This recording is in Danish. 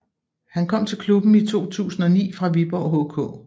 Han kom til klubben i 2009 fra Viborg HK